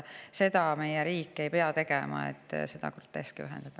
Seda meie riik ei peaks tegema, seda groteski tuleb vähendada.